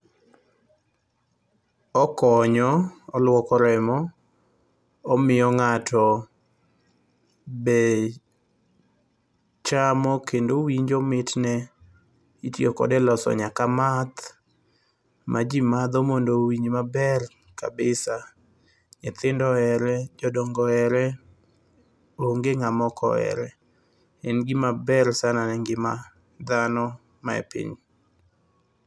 Okonyo oluoko remo omiyo ng'ato be chamo kendo winjo mitne itiyo kode e loso math majii madho mondo owinj maber. Nyithindo ohere, jodongo ohere onge ng'ama ok ohere . En gima ber sana ne ngima dhano mae piny.